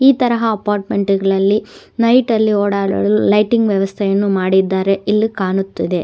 ಈ ತರಹ ಅಪಾರ್ಟ್ಮೆಂಟ್ ಗಳಲ್ಲಿ ನೈಟ್ ಲ್ಲಿ ಓಡಾಡಲು ಲೈಟಿಂಗ್ ವ್ಯವಸ್ಥೆಯನ್ನು ಮಾಡಿದ್ದಾರೆ ಇಲ್ಲಿ ಕಾಣುತ್ತದೆ.